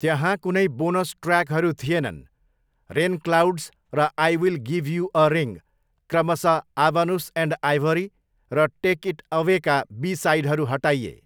त्यहाँ कुनै बोनस ट्र्याकहरू थिएनन्, 'रेनक्लाउड्स' र 'I will give you a ring', क्रमशः 'आबनुस एन्ड आइभोरी' र 'टेक इट अवे'का बी साइडहरू हटाइए।